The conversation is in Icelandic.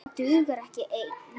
Það dugar ekki ein!